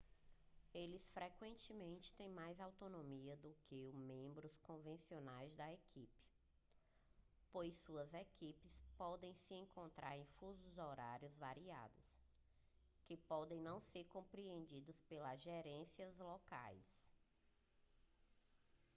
eles frequentemente têm mais autonomia do que membros convencionais da equipe pois suas equipes podem se encontrar em fusos horários variados que podem não ser compreendidos pelas gerências locais